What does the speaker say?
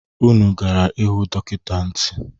Unu gara hụ dọkịta ntị?